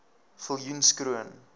viljoenskroon